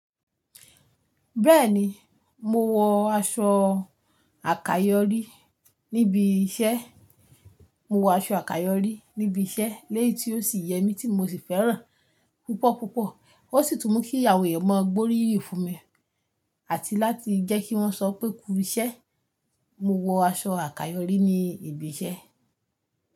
Bẹ́ẹ̀ni, mo wọ aṣọ àkayọ̀rí níbi iṣẹ́, mo wọ aṣọ àkayọ̀rí níbi iṣẹ́ léyì tí ó sì yẹ mí tí mo sì fẹ́ràn púpọ̀ púpọ̀. Ó sì tún mú kí àwọn èèyàn maa gbóríyin fún mi àti láti jẹ́ kí wọ́n sọ pé “kú iṣẹ́”. Mo wọ aṣọ àkayọ̀rí ní ibi iṣẹ́